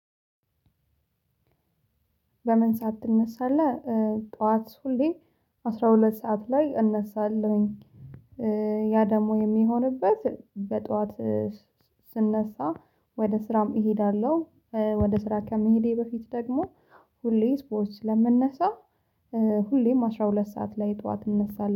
በምን ሰዓት ትነሳለህ? ጠዋት ሁሌ አስራ ሁለት ሰዓት ላይ እነሳለሁኝ። ያ ደግሞ የሚሆንበት በጧት ስነሳ ወደ ስራም እሄዳለሁ። ወደ ስራ ከመሄዴ በፊት ደግሞ ሁሌ ስፖርት ስለምነሳ ሁሌም አስራ ሁለት ሰዓት ላይ ጠዋት እንነሳለሁ